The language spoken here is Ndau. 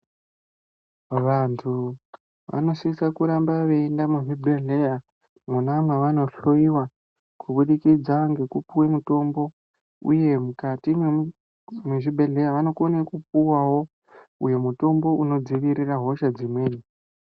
Vantu vanosisa kuramba veienda muzvibhedhleya mwona mwavano hloiwa kubudikidza ngekupuwe mutombo uye mukati mwezvibhedhleya vanokone kupuwawo uyo mutombo unodzivirira hosha dzimweni.